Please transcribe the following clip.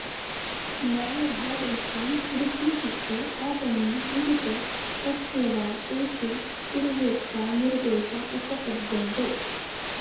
न ह्रादैचां वृद्धिशब्द आगमे विहिते तस्य वा तेषु पूर्वोक्ता निर्देशा उपपद्यन्ते